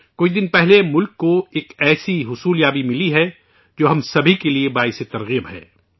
کچھ دن پہلے ملک نے ایک ایسا اعزاز حاصل کیا ہے جو ہم سھی کو تحریک دیتا ہے